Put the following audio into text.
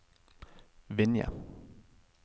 Vinje